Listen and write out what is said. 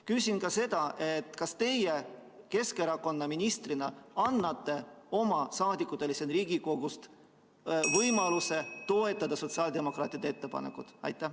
Küsin ka seda: kas teie Keskerakonna ministrina annate oma erakonna liikmetele siin Riigikogus võimaluse toetada sotsiaaldemokraatide ettepanekut?